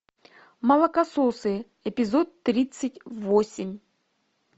молокососы эпизод тридцать восемь